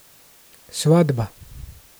Svatba.